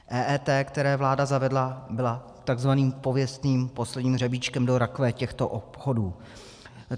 EET, kterou vláda zavedla, byla takzvaným pověstným posledním hřebíčkem do rakve těchto obchodů.